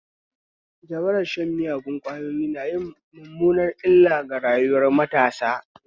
Jabarar shan miyagon kwayoyi nayin mummunar illa ga rayuwar matasa